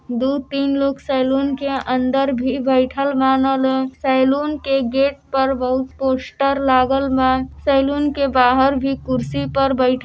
दो तीन लोग सेलून के अन्दर भी बइठल बानल लोग। सेलून के गेट पर बोहोत पोस्टर लागल बा। सेलून के बाहर भी कुर्सी पर बइठ --